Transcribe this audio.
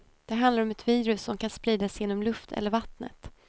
Det handlar om ett virus som kan spridas genom luft eller vattnet.